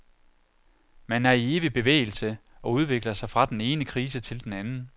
Man er i evig bevægelse og udvikler sig fra den ene krise til den anden.